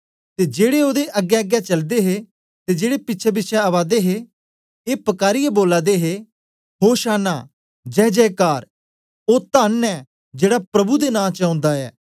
ते जेड़े ओदे अग्गेंअग्गें चलदे हे ते जेड़े पिछेंपिछें ओदे हे ए पकारीयै बोला दे हे होशाना जय जयकार धन्न ऐ ओ जेड़ा प्रभु दे नां च ओंदा ऐ